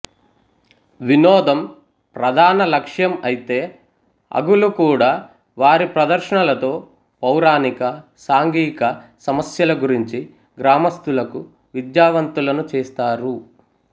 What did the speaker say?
వినోదం ప్రధాన లక్ష్యం అయితే హగూలు కూడా వారి ప్రదర్శనలతో పౌరాణిక సాంఘిక సమస్యల గురించి గ్రామస్తులకు విద్యావంతులను చేస్తారు